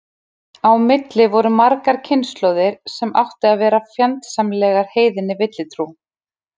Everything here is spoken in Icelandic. Á milli voru margar kynslóðir sem áttu að vera fjandsamlegar heiðinni villutrú.